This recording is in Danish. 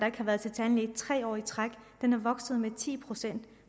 ikke har været til tandlæge i tre år i træk er vokset med ti procent